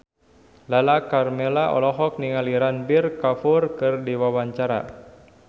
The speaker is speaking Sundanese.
Lala Karmela olohok ningali Ranbir Kapoor keur diwawancara